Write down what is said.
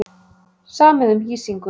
Samið um hýsingu